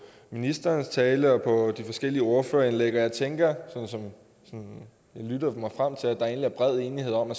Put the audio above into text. ministerens tale og de forskellige ordførerindlæg og jeg tænker sådan som jeg lytter mig frem til at der egentlig er bred enighed om at